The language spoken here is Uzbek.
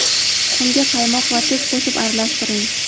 Tuxumga qaymoq va tuz qo‘shib aralashtiring.